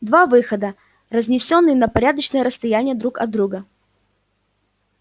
два выхода разнесённые на порядочное расстояние друг от друга